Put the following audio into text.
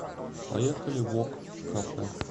поехали вок кафе